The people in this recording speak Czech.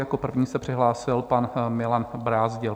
Jako první se přihlásil pan Milan Brázdil.